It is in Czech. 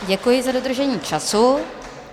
Děkuji za dodržení času.